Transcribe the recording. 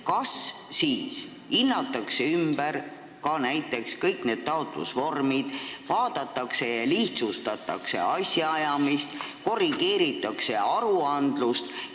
Aga kas hinnatakse ümber ka kõik taotlusvormid, vaadatakse ja lihtsustatakse asjaajamist, korrigeeritakse aruandlust?